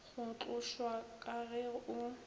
go tlošwa ka ge o